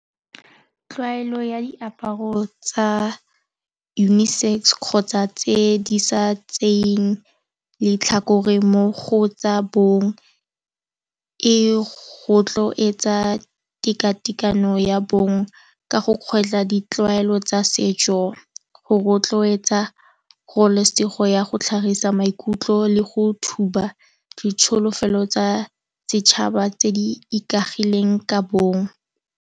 Tlwaelo ya diaparo tsa unisex kgotsa tse di sa tseyeng letlhakore mo go tsa bongwe, e go rotloetsa teka-tekano ya bongwe ka go kgwetla ditlwaelo tsa setso. Go rotloetsa kgololesego ya go tlhagisa maikutlo le go thuba ditsholofelo tsa setšhaba tse di ikaegileng ka bongwe.